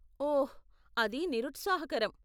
ఓహ్, అది నిరుత్సాహకరం.